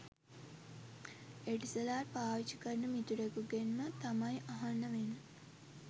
Etisalat පාවිච්චි කරන මිතුරෙකුගෙන්ම තමයි අහන්න වෙන්නෙ